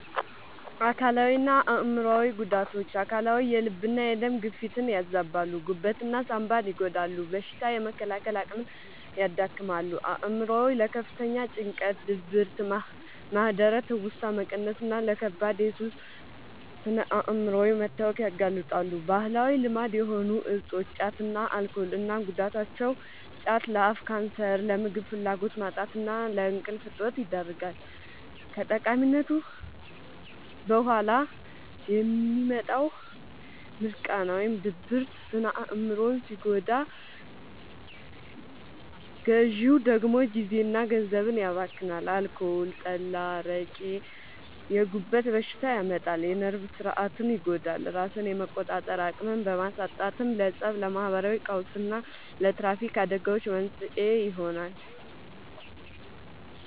አካላዊና አእምሯዊ ጉዳቶች፦ አካላዊ፦ የልብና የደም ግፊትን ያዛባሉ፣ ጉበትና ሳንባን ይጎዳሉ፣ በሽታ የመከላከል አቅምን ያዳክማሉ። አእምሯዊ፦ ለከፍተኛ ጭንቀት፣ ድብርት፣ ማህደረ-ትውስታ መቀነስና ለከባድ የሱስ ስነ-አእምሯዊ መታወክ ያጋልጣሉ። ባህላዊ ልማድ የሆኑ እፆች (ጫትና አልኮል) እና ጉዳታቸው፦ ጫት፦ ለአፍ ካንሰር፣ ለምግብ ፍላጎት ማጣትና ለእንቅልፍ እጦት ይዳርጋል። ከቃሚነቱ በኋላ የሚመጣው «ሚርቃና» (ድብርት) ስነ-አእምሮን ሲጎዳ፣ ግዢው ደግሞ ጊዜና ገንዘብን ያባክናል። አልኮል (ጠላ፣ አረቄ)፦ የጉበት በሽታ ያመጣል፣ የነርቭ ሥርዓትን ይጎዳል፤ ራስን የመቆጣጠር አቅምን በማሳጣትም ለፀብ፣ ለማህበራዊ ቀውስና ለትራፊክ አደጋዎች መንስኤ ይሆናል።